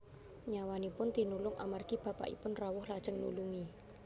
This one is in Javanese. Nyawanipun tinulung amargi bapakipun rawuh lajeng nulungi